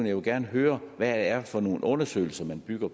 jeg vil gerne høre hvad det er for nogle undersøgelser man bygger